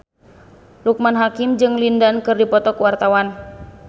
Loekman Hakim jeung Lin Dan keur dipoto ku wartawan